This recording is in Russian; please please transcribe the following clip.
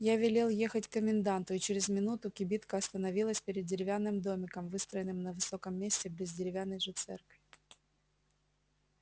я велел ехать к коменданту и через минуту кибитка остановилась перед деревянным домиком выстроенным на высоком месте близ деревянной же церкви